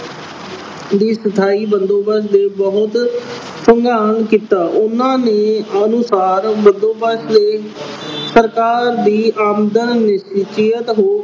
ਦੀ ਸਥਾਈ ਬੰਦੋਬਸਤ ਦਾ ਬਹੁਤ ਅਧਿਐਨ ਕੀਤਾ। ਉਹਨਾਂ ਨੇ ਅਨੁਸਾਰ ਬੰਦੋਬਸਤ ਲਈ ਸਰਕਾਰ ਦੀ ਆਮਦਨ ਵਿੱਚ ਹੋਣ